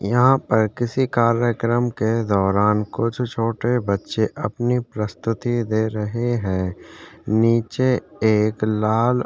यहाँ पर किसी कार्यक्रम के दौरान कुछ छोटे बच्चे अपनी प्रस्तुति दे रहे है नीचे एक लाल --